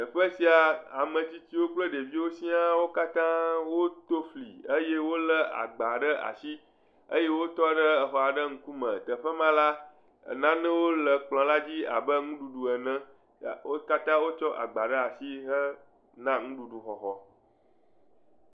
Teƒe sia, ame tsitsiwo kple ɖeviwo siaa, wo katã woto fli eye wolé agba ɖe asi eye wotɔ ɖe exɔ aɖe ŋkume, teƒe ma la, nanewo le kplɔ la dzi abe nuɖuɖu ene. Wo katã wotsɔ agba ɖe asi hena nuɖuɖu xɔxɔ.